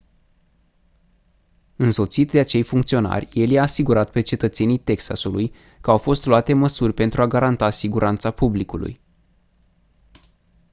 însoțit de acei funcționari el i-a asigurat pe cetățenii texasului că au fost luate măsuri pentru a garanta siguranța publicului